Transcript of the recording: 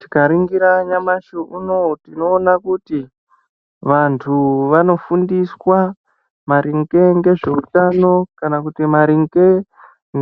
Tikaringira nyamashi unou tinoona kuti vanthu vanofundiswa maringe ngezveutano kana kuti maringe